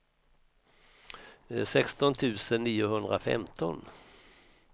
sexton tusen niohundrafemton